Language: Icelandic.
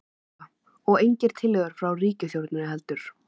Lóa: Og engar tillögur frá ríkisstjórninni heldur?